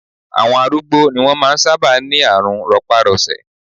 Àwọn arúgbó ni wọ́n máa ń sábà ní àrùn rọpárọsẹ̀